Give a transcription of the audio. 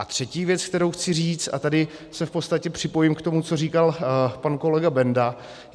A třetí věc, kterou chci říct, a tady se v podstatě připojím k tomu, co říkal pan kolega Benda.